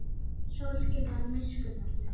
Sólskin var miskunnarlaust.